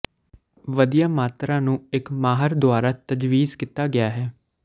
ਵਧੀਆ ਮਾਤਰਾ ਨੂੰ ਇੱਕ ਮਾਹਰ ਦੁਆਰਾ ਤਜਵੀਜ਼ ਕੀਤਾ ਗਿਆ ਹੈ